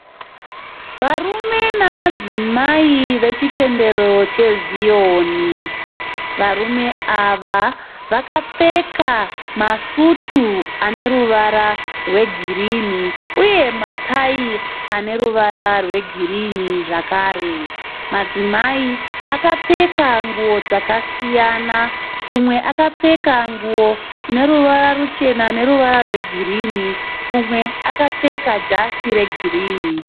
Varume namadzimai vechitendero cheziyoni. Varume ava vakapfeka masutu aneruvara rwegirini uye matayi aneruvara rwegirini zvekare. Madzimai akapfeka nguwo dzakasiyana umwe akapfeka nguwo ine ruvara ruchena neruvara rwegirini umwe akapfeka jasi regirini